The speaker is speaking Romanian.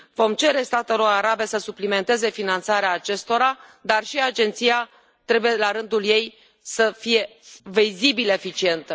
Vom cere statelor arabe să suplimenteze finanțarea, dar și Agenția trebuie, la rândul ei, să fie vizibil eficientă.